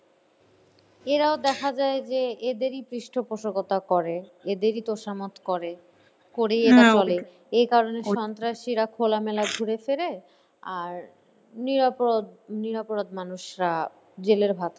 এরা দেখা যায় যে এদেরই পৃষ্ঠপোষকতা করে এদেরই তোষামোদ করে করেই চলে এ কারণে সন্ত্রাসীরা খোলামেলা ঘুরে ফেরে আর নিরপরাধ মানুষরা জেলের ভাত